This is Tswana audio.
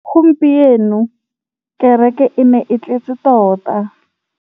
Gompieno kêrêkê e ne e tletse tota.